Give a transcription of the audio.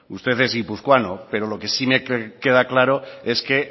usted es guipuzcoano pero lo que sí me queda claro es que